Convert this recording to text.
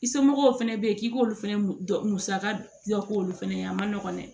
I somɔgɔw fɛnɛ be yen k'i k'olu fɛnɛ dɔ musaka dɔ k'olu fɛnɛ ye a ma nɔgɔ dɛ